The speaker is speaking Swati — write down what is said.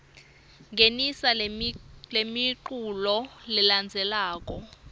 ngenisa lemiculu lelandzelako